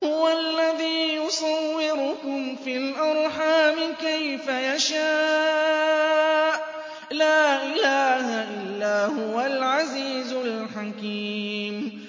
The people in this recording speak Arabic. هُوَ الَّذِي يُصَوِّرُكُمْ فِي الْأَرْحَامِ كَيْفَ يَشَاءُ ۚ لَا إِلَٰهَ إِلَّا هُوَ الْعَزِيزُ الْحَكِيمُ